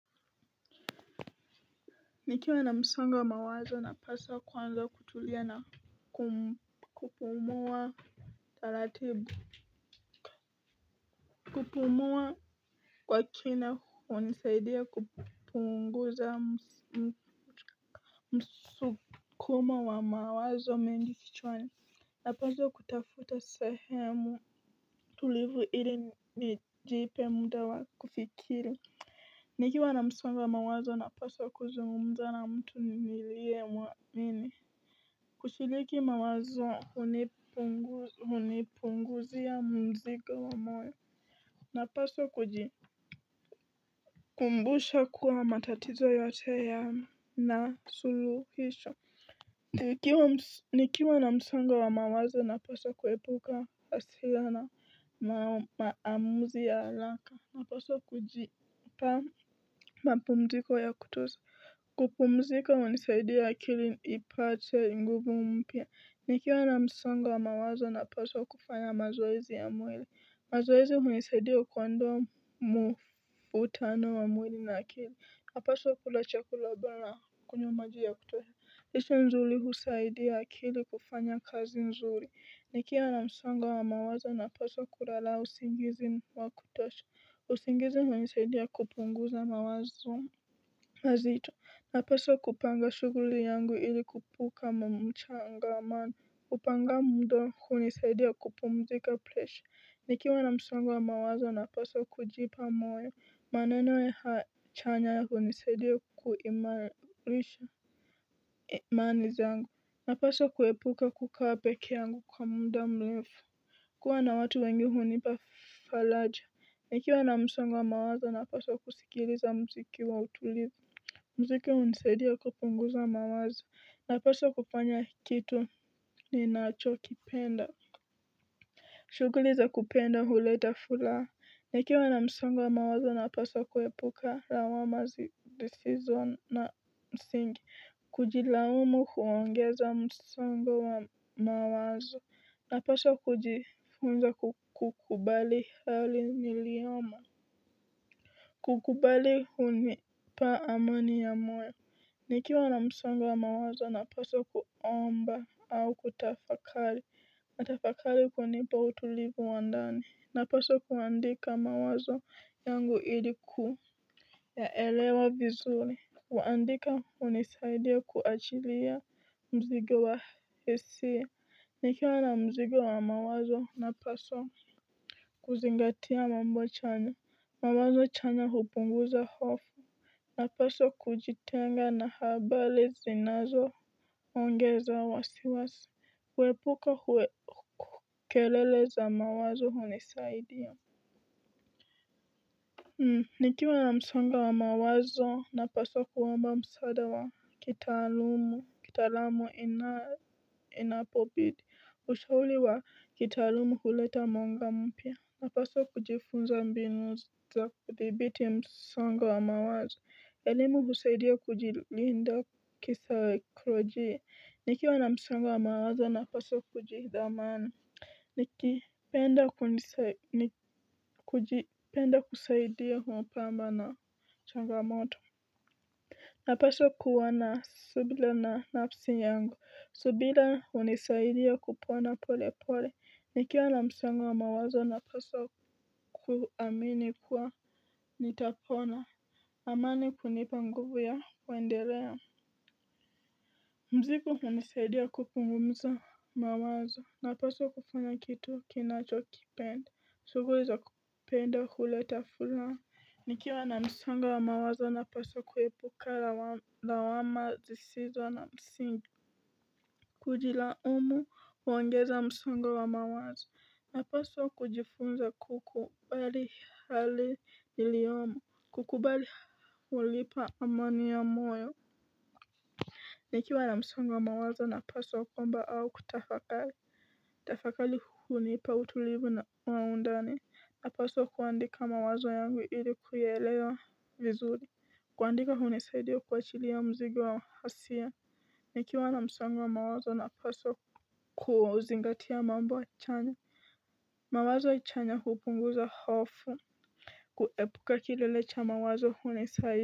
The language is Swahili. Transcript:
Nikiwa na msongo wa mawazo na paswa kwanza kutulia na kupumuwa taratibu kupumua kwa kina wa nisaidia kupunguza msukumo wa mawazo mengi kichwani. Na paswa kutafuta sahemu tulivu ili nijipe muda wa kufikiri. Nikiwa na msongo wa mawazo na paswa kuzungumza na mtu nilie mwamini. Kushiriki mawazo hunipunguzia mzigo napaswa kujikumbusha kwamba matatizo yote yanasuluhisho. Nikiwa na msongo wa mawazo na paswa kuepuka asila na maamuzi ya araka. Na paswa kuji pa mapumziko wa ya kutosha kupumzika wa nisaidi ya akili ipate nguvu mpya niki wana msongo wa mawazo na paswa kufanya mazoezi ya mwili mazoezi hunisaidia kuondoa mvutano wa mwili na akili hapaswa kula chakula bora kunywa maji ya kutosha lisa nzuli husaidia akili kufanya kazi nzuli nikiwa na msongo wa mawazo napaswa kulala usingizi wa kutosha usingizi hunisaidia kupunguza mawazo. Hazito, napaswa kupanga shughuli yangu ili kuepuka mchangamano, kupanga muda huni saidia kupumzika presha, nikiwa na msongo wa mawaza napaswa kujipa moyo, maneno ya haya chanya huni saidia kuimani zaangu, napaswa kuepuka kukaa peke yangu kwa muda mrefu, kuwa na watu wengi hunipa faraja, nikiwa na msongo wa mawazo napaswa kusikiliza mziki wa utulivu, mziki unisaidia kupunguza mawazo na paswa kufanya kitu ni nacho kipenda shughuliza kupenda huleta furaha nikiwa na msongo wa mawazo na paswa kuepuka lawama zisizo na msingi kujilaumu huongeza msongo wa mawazo na paswa kujifunza kukubali hali niliyoma kukubali huni pa amani ya moyo. Nikiwa na msongo wa mawazo na paswa kuomba au kutafakali. Matafakali kunipa utulivu wa ndani. Na paswa kuandika mawazo yangu iliku yaelewa vizuri. Waandika unisaidia kuachilia mzigo wa hisia. Nikiwa na mzigo wa mawazo na paswa kuzingatia mambo chanya. Mawazo chanya hupunguza hofu. Na paswa kujitenga na habari zinazo ongeza wa siwasi. Kuepuka huwe kelele za mawazo huni saidia. Nikiwa na msango wa mawazo na paswa kuomba msaada wa kitalumu ki talamu ina ina pobidi kushauli wa ki talumu kuleta mwanga mpya. Na paswa kujifunza mbinuza kudhibiti msongo wa mawazo. Elimu husaidia kujilinda. Kisawe kurojie, nikiwa na msongo mawaza na paswa kujidhamani. Nikipenda kusaidia mpamba na changamoto napaswa kuwa na subila na nafsi yangu subira hunisaidia kupona polepole nikiwa na msongo wa mawazo naweza kuamin kuwa nitapona amani hunipa nguvu ya kuendelea. Mzigo hunisaidia kupunguza mawazo, na paswa kufanya kitu kinacho kipenda, sioweza penda kuleta fulano. Nikiwa na msango wa mawazo, na paswa kuepuka lawama zisizo na msingi. Kujila umu, uongeza msongo wa mawazo, na paswa kujifunza kukubali hali niliyomo, kukubali walipa amani ya moyo. Nikiwa na msangwa mawazo na paswa kuomba au kutafakali kutafakari hunipa utulivu na undani napaswa kuandika mawazo yangu ili kuyaelewa vizuri kuandika hunisaidia kuachilia mzigo wa hasira nikiwa na msongo wa mawazo napaswa kuzingatia mambo chanya. Mawazo achanya hupunguza hofu. Kuepuka kilele cha mawazo huni saidia.